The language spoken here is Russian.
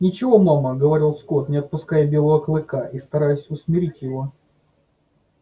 ничего мама говорил скотт не отпуская белого клыка и стараясь усмирить его